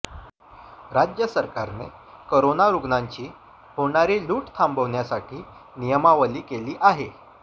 राज्य सरकारने करोना रुग्णांची होणारी लूट थांबवण्यासाठी नियमावली केली आहे